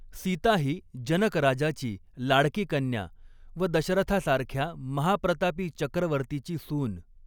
सीता ही जनक राजाची लाडकी कन्या व दशरथासारख्या महाप्रतापी चक्रवर्तीची सून.